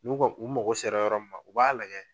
N'u ka u mago sera yɔrɔ min ma u b'a lajɛ